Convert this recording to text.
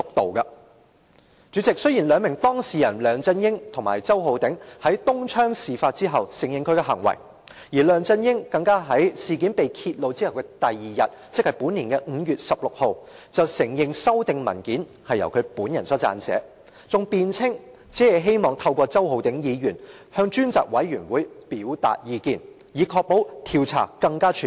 代理主席，雖然梁振英和周浩鼎議員兩名當事人在東窗事發後承認他們的行為，而梁振英更在事件被揭露後翌日承認修訂文件是由他本人所撰寫，還辯稱只是希望透過周浩鼎議員向專責委員會表達意見，以確保調查更全面。